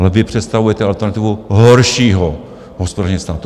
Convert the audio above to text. Ale vy představujete alternativu horšího hospodaření státu.